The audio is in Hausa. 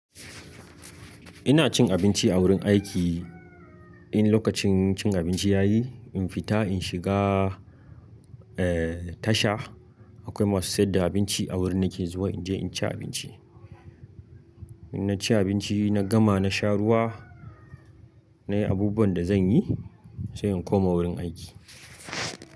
Ina cin abinci a wurin aiki. In lokacin cin abinci ya yi, in fita in shiga, eh, tasha akwai masu saida abinci a wurin nake zuwa in je in ci abinci. In na ci abinci, na gama na sha ruwa, na yi abubuwan da zan yi sai in koma wurin aiki.